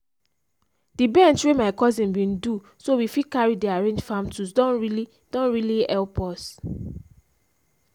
the bench wey my cousin bin do so we fit carry dey arrange farm tools don really don really help us o